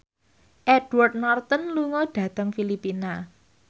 Edward Norton lunga dhateng Filipina